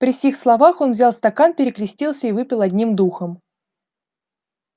при сих словах он взял стакан перекрестился и выпил одним духом